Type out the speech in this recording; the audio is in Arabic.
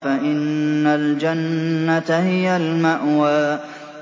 فَإِنَّ الْجَنَّةَ هِيَ الْمَأْوَىٰ